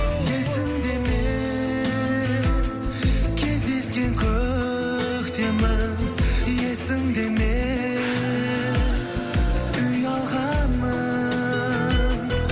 есіңде ме кездескен көктемің есіңде ме ұялғаның